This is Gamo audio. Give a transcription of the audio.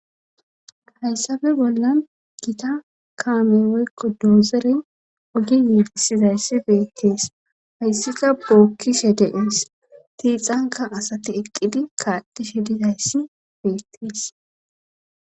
hayssafe bollan gita kaame weykko doozere ogi yiidisizayssi beettees hayssika bookkishe deees tiixanka asati eqqidi kaatishe dizayssi beettes